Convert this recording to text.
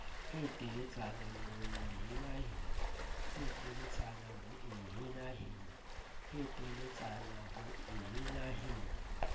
e teletsana ho e henahena